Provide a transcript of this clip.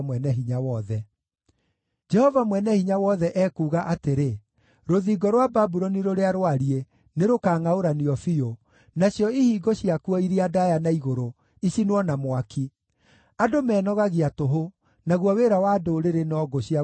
Jehova Mwene-Hinya-Wothe ekuuga atĩrĩ: “Rũthingo rwa Babuloni rũrĩa rwariĩ nĩrũkangʼaũranio biũ, nacio ihingo ciakuo iria ndaaya na igũrũ icinwo na mwaki; andũ menogagia tũhũ, naguo wĩra wa ndũrĩrĩ no ngũ cia gũcinwo na mwaki.”